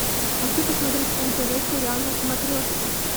хочу посмотреть нтв сериал на смотрешке